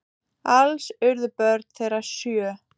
Alls urðu börn þeirra sjö.